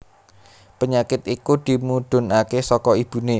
Penyakit iku dimudhunaké saka ibuné